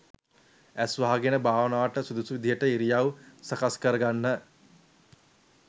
ඇස් වහගෙන භාවනාවට සුදුසු විදිහට ඉරියව්ව සකස් කරගන්න